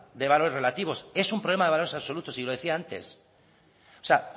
de valores relativos es un problema de valores absolutos y lo decía antes o sea